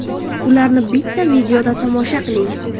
Ularni bitta videoda tomosha qiling !